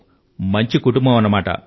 వాహ్ మంచి కుటుంబం